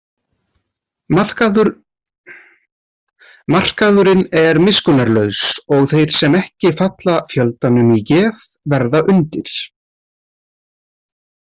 Markaðurinn er miskunnarlaus og þeir sem ekki falla fjöldanum í geð verða undir.